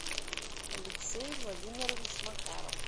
алексей владимирович макаров